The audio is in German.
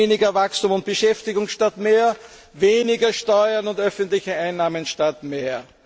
Wir erreichen weniger Wachstum und Beschäftigung statt mehr, weniger Steuern und öffentliche Einnahmen statt